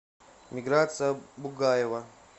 миграция бугаева